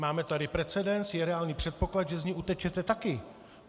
Máme tady precedens, je reálný předpoklad, že z ní utečete taky.